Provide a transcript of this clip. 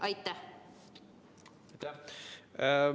Aitäh!